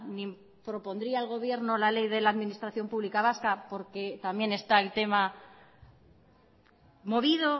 ni propondría el gobierno la ley de la administración pública vasca porque también está el tema movido